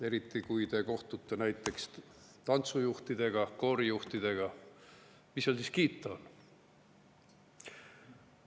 Eriti, kui te kohtute näiteks tantsujuhtidega, koorijuhtidega, siis mis seal kiita on?